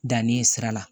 Danni ye sira la